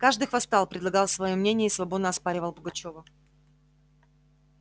каждый хвастал предлагал свои мнения и свободно оспаривал пугачёва